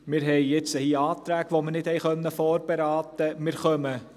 Wir haben jetzt Anträge, die wir nicht vorberaten können.